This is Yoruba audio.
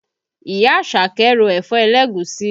Ìyá Àṣàkẹ́ ro ẹ̀fọ́ ẹlẹ́gùúsí